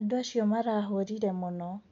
Andũ acio marahũrire mũno.